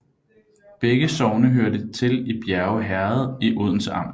Begge sogne hørte til Bjerge Herred i Odense Amt